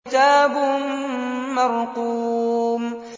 كِتَابٌ مَّرْقُومٌ